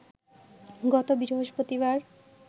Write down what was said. গত বৃহস্পতিবার